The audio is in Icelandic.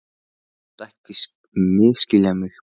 En þú mátt ekki misskilja mig.